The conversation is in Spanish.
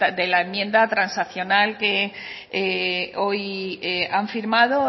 de la enmienda transaccional que hoy han firmado